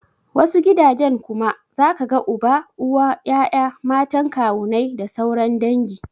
Wasu gidajen kuma zaka ga uba, uwa, ya'ya, matan kawunnai da sauran dangi.